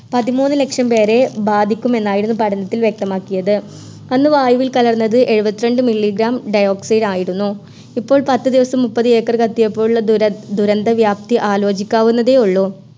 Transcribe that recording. പതിമൂന്ന് ലക്ഷം പേരെ ബാധിക്കുമെന്നായിരുന്നു പഠനത്തിൽ വ്യക്തമാക്കിയത് അന്ന് വായുവുൽ കലർന്നത് ഏഴുവത്രണ്ട് Milli gram dioxide ആയിരുന്നു ഇപ്പോൾ പത്ത് ദിവസം മുപ്പതേക്കർ കത്തിയപ്പോള്ള ദുര ദുരന്ത വ്യാപ്തി ആലോചിക്കാവുന്നതേ ഉള്ളു